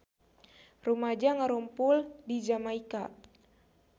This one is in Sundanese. Rumaja ngarumpul di Jamaika